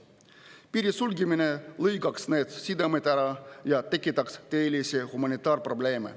Piiride sulgemine lõikaks need sidemed ära ja tekitaks tõelisi humanitaarprobleeme.